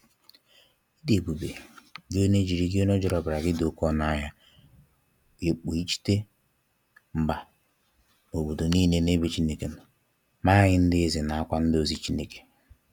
Ị dị ebube, gị onye jiri gị onye jiri ọbara gị dị oke ọnụ ahịa wee kpọghachite mba na obodo niile n'ebe Chineke nọ, mee anyị ndị eze nakwa ndị ozi Chineke.